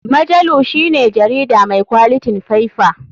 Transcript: Majalu shine jarida mai kwalitin faiffa.